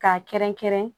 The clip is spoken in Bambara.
K'a kɛrɛnkɛrɛn